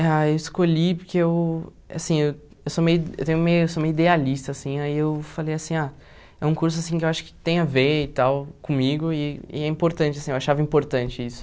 Ah, eu escolhi porque eu assim eu eu sou meio eu tenho meio eu sou meio idealista assim, aí eu falei assim, ah é um curso assim que eu acho que tem a ver e tal comigo e e é importante assim, eu achava importante isso.